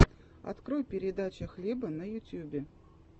открой передача хлеба на ютьюбе